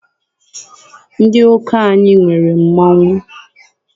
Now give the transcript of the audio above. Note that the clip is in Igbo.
Ndị ụka anyị nwere mmọnwụ.